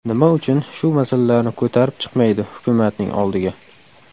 Nima uchun shu masalalarni ko‘tarib chiqmaydi hukumatning oldiga?